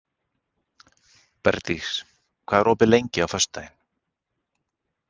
Bergdís, hvað er opið lengi á föstudaginn?